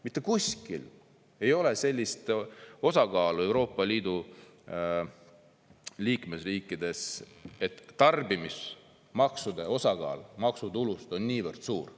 Mitte kuskil ei ole sellist osakaalu Euroopa Liidu liikmesriikides, et tarbimismaksude osakaal maksutulust on niivõrd suur.